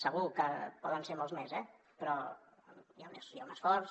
segur que poden ser molts més eh però hi ha un esforç